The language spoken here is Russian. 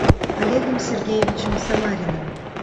олегом сергеевичем самариным